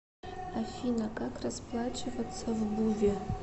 афина как расплачиваться в буве